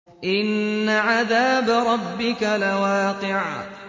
إِنَّ عَذَابَ رَبِّكَ لَوَاقِعٌ